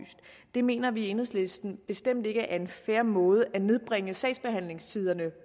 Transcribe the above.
det mener vi i enhedslisten bestemt ikke er en fair måde at nedbringe sagsbehandlingstiderne